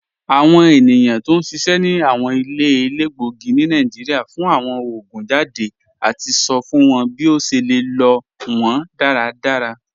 Awọn ènìyàn tó n ṣiṣẹ̀ ni awọn ilẹ̀ èlégbogì ni Nàìjíríà fún awọn oogun jàdé àti sọ̀ fún wọn bí o ṣè lè lọ wọn dàràdàrà.